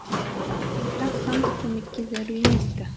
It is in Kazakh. бірақ санта көмекке зәру емес ті